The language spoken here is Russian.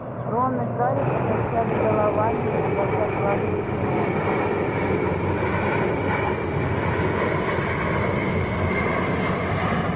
рон и гарри покачали головами не сводя глаз с гермионы